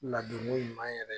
Ladonko ɲuman yɛrɛ